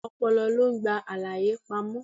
Ọpọlọ lo ń gba àlàyé pamó.